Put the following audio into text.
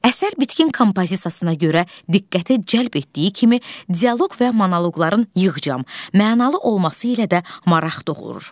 Əsər bitkin kompozisiyasına görə diqqəti cəlb etdiyi kimi, dialoq və monoloqların yığcam, mənalı olması ilə də maraq doğurur.